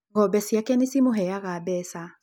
Ng'ombe ciake nĩ cimũheaga mbeca.